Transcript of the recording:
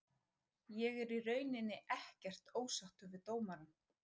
Ég er í rauninni ekkert ósáttur við dómarann.